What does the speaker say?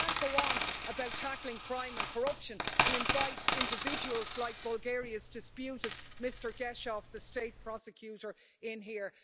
We can't go on about tackling crime and corruption and invite individuals like Bulgaria's disputed Mr Geshev, the state prosecutor, in here.